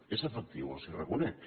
és efectiu els ho reconec